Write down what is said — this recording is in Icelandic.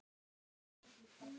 Söngur og fjör.